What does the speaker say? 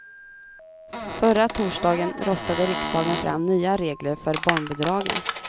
Förra torsdagen röstade riksdagen fram nya regler för barnbidragen.